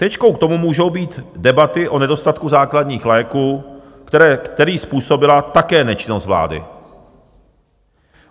Tečkou k tomu můžou být debaty o nedostatku základních léků, který způsobila také nečinnost vlády.